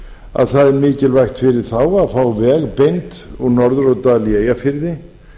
að það er mikilvægt fyrir þá að fá veg beint úr norðurárdal í eyjafirði